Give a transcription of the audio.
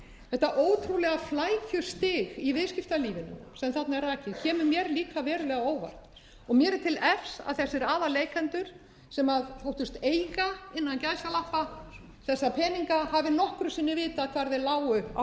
þetta ótrúlega flækjustig í viðskiptalífinu sem þarna er rakið kemur mér líka verulega á óvart og mér er til efs að þessir aðalleikendur sem þóttust eiga þessa peninga hafi nokkru sinni vitað hvar þeir lágu á